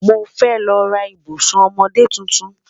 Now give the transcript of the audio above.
Mo fẹ́ lọ́ rà ìbùṣún ọmọdé títún.